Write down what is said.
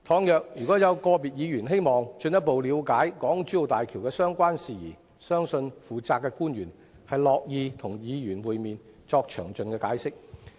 如有個別議員希望進一步了解港珠澳大橋的相關事宜，相信負責的官員樂意與議員會面，作詳盡的解釋。